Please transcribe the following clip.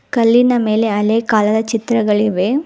ಕಲ್ಲಿನ ಮೇಲೆ ಹಳೆಯ ಕಾಲದ ಚಿತ್ರಗಳಿವೆ.